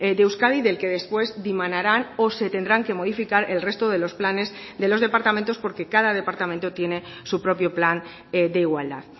de euskadi del que después dimanarán o se tendrán que modificar el resto de los planes de los departamentos porque cada departamento tiene su propio plan de igualdad